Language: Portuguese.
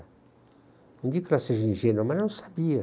Não digo que ela seja ingênua, mas ela não sabia.